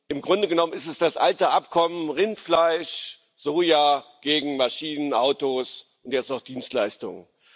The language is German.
Im Grunde genommen ist es das alte Abkommen Rindfleisch, Soja gegen Maschinen, Autos und jetzt noch Dienstleistungen.